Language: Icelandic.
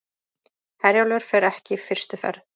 Herjólfur fer ekki fyrstu ferð